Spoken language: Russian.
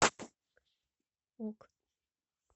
ок